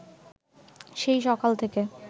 সেই সকাল থেকে